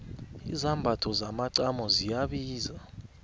izambatho zomacamo ziyabiza